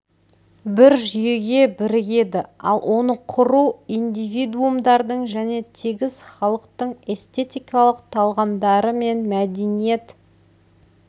бір жүйеге бірігеді ал оны құру индивидумдардың және тегіс халықтың эстетикалық талғамдары мен мәдениет